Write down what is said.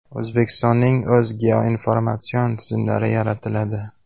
O‘zbekistonning o‘z geoinformatsion tizimlari yaratiladi.